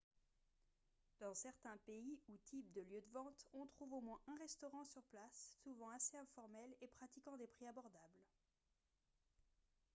dans certains pays ou types de lieux de vente on trouve au moins un restaurant sur place souvent assez informel et pratiquant des prix abordables